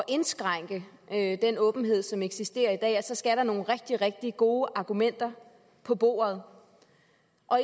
indskrænke den åbenhed som eksisterer i dag ja så skal der nogle rigtig rigtig gode argumenter på bordet